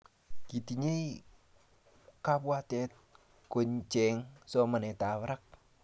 kitinyei kabwatet kocheny somanetab barak